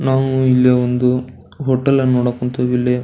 ನಾವು ಇಲ್ಲಿ ಒಂದು ಹೋಟೆಲ್ನ ನೋಡಕ್ ಹೊಂತಿವಿ ಇಲ್ಲಿ.